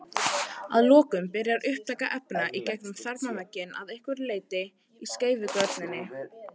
Að lokum byrjar upptaka efna í gegnum þarmavegginn að einhverju leyti í skeifugörninni.